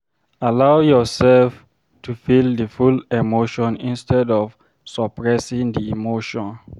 Allow yourself to feel di full emotion instead of suppressing di emotion